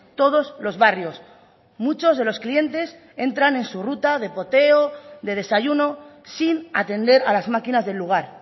todos los barrios muchos de los clientes entran en su ruta de poteo de desayuno sin atender a las máquinas del lugar